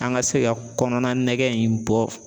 An ka se ka kɔnɔna nɛgɛ in bɔ